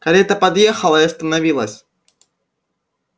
карета подъехала и остановилась